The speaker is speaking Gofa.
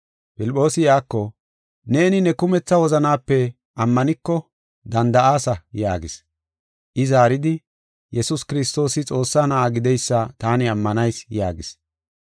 Filphoosi iyako, “Neeni ne kumetha wozanaape ammaniko danda7aasa” yaagis. I zaaridi, “Yesuus Kiristoosi Xoossaa Na7aa gideysa taani ammanayis” yaagis.